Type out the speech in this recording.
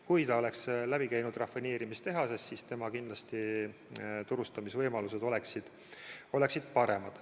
Kui see õli oleks läbi käinud rafineerimistehasest, siis tema turustamise võimalused oleksid kindlasti paremad.